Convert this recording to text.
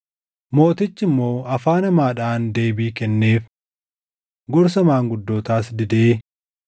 Mootichi immoo afaan hamaadhaan deebii kenneef. Gorsa maanguddootaas didee,